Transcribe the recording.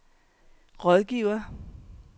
rådgiver